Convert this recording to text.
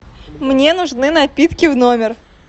мне нужны напитки в номер